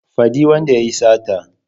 Faɗi wanda yayi sata